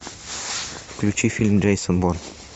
включи фильм джейсон борн